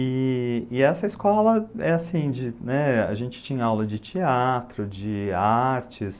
E, e essa escola, é assim de, a gente tinha aula de teatro, de artes,